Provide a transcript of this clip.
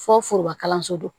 Fɔ forobakalanso don